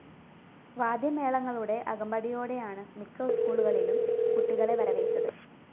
വാദ്യമേളങ്ങളുടെ അകമ്പടിയോടയാണ് മിക്ക സ്‌കൂളുകളിലും കുട്ടികളെ വരവേറ്റത്